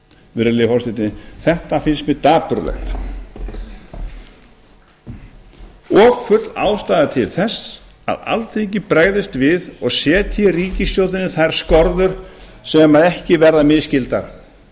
virðulegi forseti þetta finnst mér dapurlegt og full ástæða til þess að alþingi bregðist við og setji ríkisstjórninni þær skorður sem ekki verða misskildar